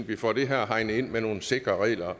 vi får det her hegnet ind med nogle sikre regler